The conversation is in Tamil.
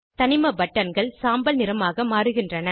தனிம பட்டன்கள் சாம்பல் நிறமாக மாறுகின்றன